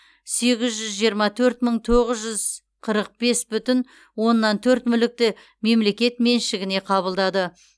сегіз жүз жиырма төрт мың тоғыз жүз қырық бес бүтін оннан төрт мүлікті мемлекет меншігіне қабылдады